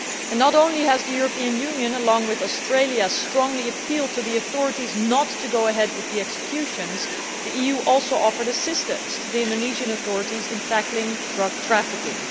Not only has the European Union, along with Australia, strongly appealed to the authorities not to go ahead with the executions, the EU also offered assistance to the Indonesian authorities in tackling drug trafficking.